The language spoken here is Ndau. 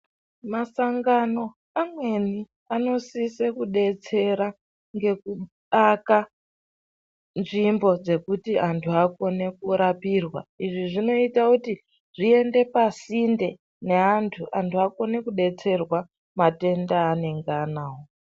Masangano amweni, anosisa kudetsera ngekuaka nzvimbo dzekuti anthu akone kurapirwa. Izvi zvinoita kuti zviende pasinde neanthu, anthu akone kudetserwa matenda eanonga anawo.